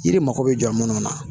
Yiri mako be jɔ munnu na